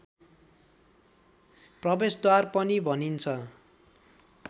प्रवेशद्वार पनि भनिन्छ